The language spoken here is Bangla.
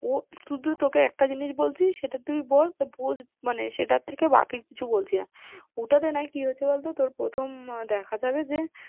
ও শুধু তোকে একটা জিনিস বলছি, সেটা তুই বোঝ মানে সেটা থেকে বাকি কিছু বলছি না, ওটাতে না কি হয়েছে বল তো তোর প্রথমে দেখা যাবে যে